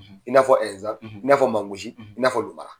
I n'a fɔ Inzan, ,i n'a fɔ Mangosi, , i n'a fɔ Lomara.